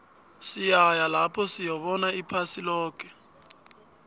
siyaya lapho siyobona iphasi loke